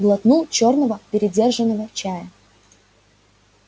глотнул чёрного передержанного чая